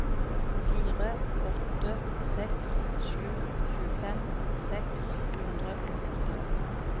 fire åtte seks sju tjuefem seks hundre og førtien